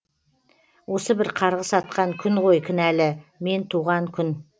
осы бір қарғыс атқан күн ғой кінәлі мен туған күн